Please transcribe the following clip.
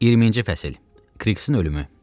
20-ci fəsil: Kriqsin ölümü.